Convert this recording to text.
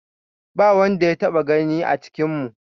Ba wanda ya taɓa gani a cikinmu.